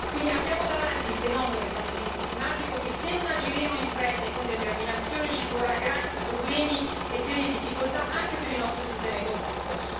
Quindi abbiamo davanti il fenomeno del cambiamento climatico che, se non agiremo in fretta e con determinazione, ci porrà grandi problemi e serie difficoltà anche per il nostro sistema economico.